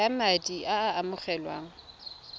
ya madi a a amogelwang